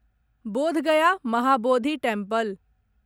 Bodh Gaya Mahabodhi temple